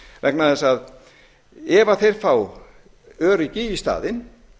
vegna þess að ef þeir fá öryggi í staðinn